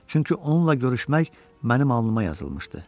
Çünki onunla görüşmək mənim alnıma yazılmışdı.